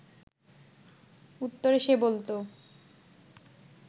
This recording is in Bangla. উত্তরে সে বলত